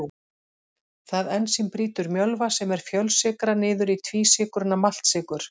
Það ensím brýtur mjölva sem er fjölsykra niður í tvísykruna maltsykur.